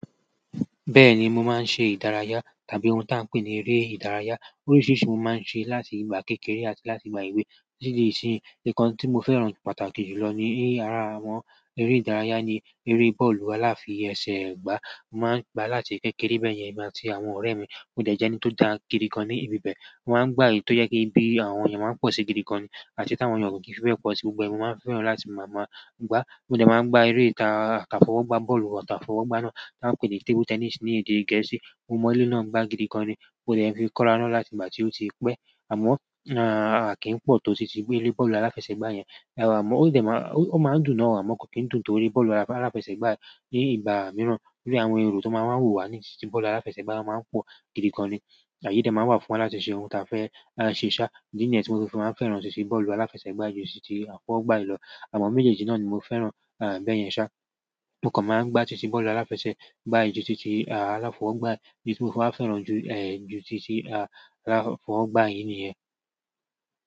Bẹ́ẹ̀ni, mo máa ń ṣe ìdárayá tàbí ohun tí a ń pè ní eré ìdárayá. Oríṣiríṣi mo máa ń ṣe láti ìgbà kékeré àti láti ìgbà èwe. Títí di ìsinyìí, nǹkan tí mo fẹ́ràn pàtàkì jù lọ ní ara àwọn eré ìdárayá ni eré bọ́ọ̀lù aláfi ẹsẹ̀gbá. Mo máa ń gbá láti kékeré bẹ́ẹ̀ yẹn, èmi àti àwọn ọ̀rẹ́ mi. Mo dẹ̀ ẹni tó dáa gidi gan ní ibi bẹ́ẹ̀. Mo máa ń gbá èyí tó jẹ́ kí bí àwọn ènìyàn máa ń pọ̀ sí i gidi gan an, àti tí àwọn yàn kò kin fi bẹ̀ pọ̀ sí i gbogbo. Ẹ̀, mo máa ń fẹ́ràn láti máa ma gbá. Mo dẹ̀ máa ń gbá eré ta ka fọwọ́ gbá bọ́ọ̀lù tàbí fọwọ́ gbá ná tí a ń pè ní table tennis ní èdè. Gẹ̀ẹ́sì. Mo mọ èleyìí náà gbá gidi gan ni. Mo dẹ̀ fi kọ́ra ná láti ìgbà tí ó ti pẹ́. Àmọ́ a kì ń pọ̀ to titi bọ́ọ̀lù aláfẹsẹ̀gbá ẹ̀ àmọ́, ó máa ń dùn náà wà mọ́ kò kín dùn torí bọ́ọ̀lù aláfẹsẹ̀gbá ní ìgbà mìíràn, bí àwọn èrò tó máa ń wù wá ní ìsòti bọ́ọ̀lù aláfẹsẹ̀gbá máa ń pọ̀ gidi gan ni. Àyẹ́ dẹ̀ máa ń wà fún wọn láti ṣe ohun ta fẹ́ ṣe ṣá. Nígbà ẹni tí mo fi máa ń fẹ́ràn títí bọ́ọ̀lù aláfẹsẹ̀gbá ju títí àfọwọ́gbá lọ. Àmọ́ méjèèjì náà ni mo fẹ́ràn bẹ́ẹ̀ yẹn ṣá. Mo kàn máa ń gbá títí bọ́ọ̀lù aláfẹsẹ̀gbá ju títí aláfọwọ́gbá, bí mo bá fẹ́ràn ju, ẹ̀, ju títí aláfọwọ́gbá yìí niyẹn.